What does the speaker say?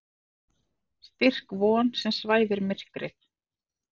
Styrk von sem svæfir myrkrið.